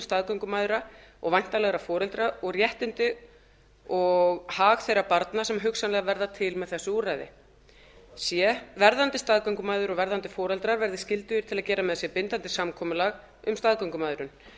staðgöngumæðra og væntanlegra foreldra og réttindi og hag þeirra barna sem hugsanlega verða til með þessu úrræði c verðandi staðgöngumæður og verðandi foreldrar verði skyldugir til að gera með sér bindandi samkomulag um staðgöngumæðrun